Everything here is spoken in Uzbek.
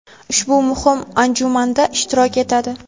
ushbu muhim anjumanda ishtirok etadi.